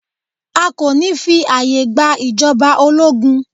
A kò ní fí ààyè gba ìjọba ológun.